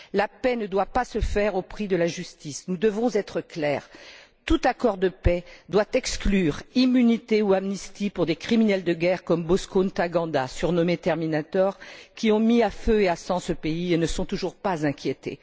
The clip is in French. La paix ne doit pas se faire au prix de la justice. Nous devons être clairs. Tout accord de paix doit exclure immunité ou amnistie pour des criminels de guerre comme Bosco Ntaganda, surnommé terminator qui ont mis à feu et à sang ce pays et ne sont toujours pas inquiétés.